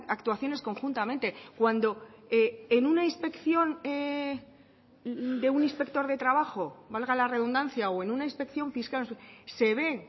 actuaciones conjuntamente cuando en una inspección de un inspector de trabajo valga la redundancia o en una inspección fiscal se ve